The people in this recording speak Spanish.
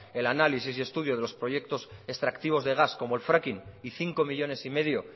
el análisis y estudio de los proyectos extractivos de gas como el fracking y cinco coma cinco millónes